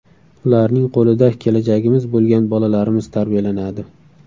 Ularning qo‘lida kelajagimiz bo‘lgan bolalarimiz tarbiyalanadi.